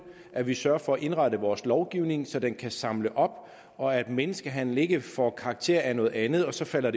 at vi sørger for at indrette vores lovgivning så den kan samle op og at menneskehandel ikke får karakter af noget andet og så falder